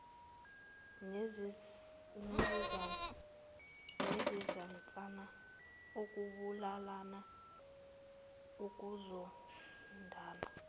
nezinsana ukubulalana ukuzondana